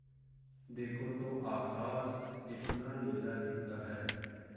देखो तो आकाश कितना नीला दिखता है